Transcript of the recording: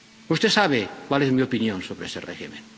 Usted sabe cuál es mi opinión sobre ese régimen.